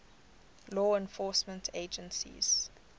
law enforcement agencies